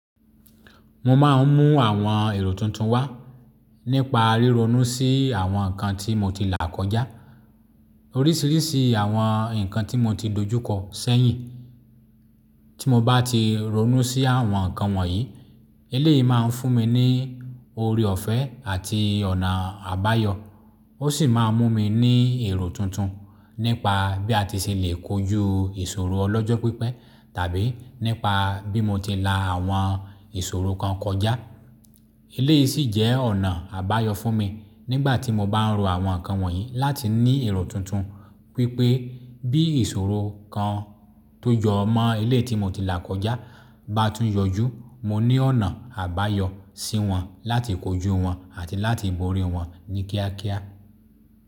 Mo máa ń mú àwọn èrò tuntun wá nípa ríronú sí àwọn nǹkan tí mo ti là kọjá, oríṣiríṣi àwọn nǹkan tí mo ti dojúkọ sẹ́yìn. Tí mo bá ti ronú sí àwọn nǹkan wọ̀nyí, eléyìí máa ń fún mi ní oore ọ̀fẹ́ àti ọ̀nà àbáyọ. Ó sì máa mú mi ní èrò tuntun nípa bí a ti ṣe lè kojú ìṣòro ọlọ́jọ́ pípẹ́ tàbí nípa bí mo ti la àwọn ìṣòro kan kọjá. Eléyìí sì jẹ́ ọ̀nà àbáyọ fún mi nígbà tí mo bá ń ro àwọn nǹkan wọ̀nyí láti ní èrò tuntun wípé bí ìṣòro kan tó jọ mọ́ eléyìí tí mo ti là kọjá bá tún yọ jú, mo ní ọ̀nà àbáyọ sí wọn láti kojú wọn àti láti borí wọn ní kíákíá.